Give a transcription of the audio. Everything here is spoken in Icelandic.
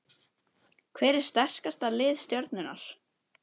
Hvert er sterkasta lið Stjörnunnar?